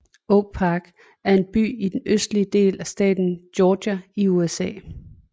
Oak Park er en by i den østlige del af staten Georgia i USA